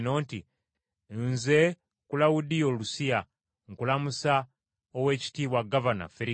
Nze Kulawudiyo Lusiya, nkulamusa Oweekitiibwa Gavana Ferikisi.